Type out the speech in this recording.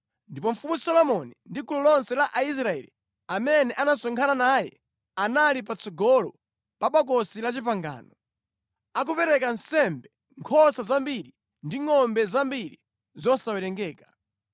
ndipo Mfumu Solomoni ndi gulu lonse la Aisraeli amene anasonkhana naye anali patsogolo pa Bokosi la Chipangano, akupereka nsembe nkhosa zambiri ndi ngʼombe zambiri zosawerengeka.